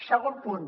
segon punt